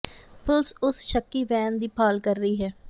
ਪੁਲਸ ਉਸ ਸ਼ੱਕੀ ਵੈਨ ਦੀ ਭਾਲ ਕਰ ਰਹੀ ਹੈ